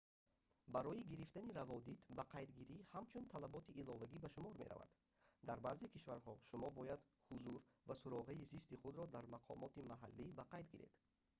барои гирифтани раводид бақайдгирӣ ҳамчун талаботи иловагӣ ба шумор меравад дар баъзе кишварҳо шумо бояд ҳузур ва суроғаи зисти худро дар мақомоти маҳаллӣ ба қайд гиред